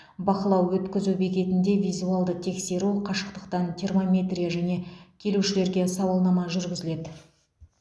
бақылау өткізу бекетінде визуалды тексеру қашықтықтан термометрия және келушілерге сауалнама жүргізіледі